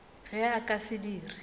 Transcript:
ge a ka se dire